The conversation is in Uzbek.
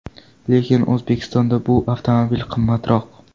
Lekin O‘zbekistonda bu avtomobil qimmatroq.